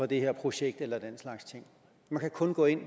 det her projekt eller den slags ting man kan kun gå ind